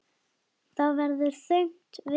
Það var þögn við borðið.